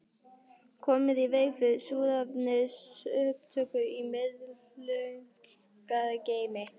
Komið í veg fyrir súrefnisupptöku í miðlunargeymi